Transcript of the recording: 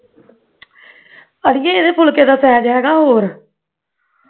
ਪੜੀਏ ਇਹਦੇ ਫੁਲਕੇ ਦਾ size ਹੈਗਾ ਹੋਰ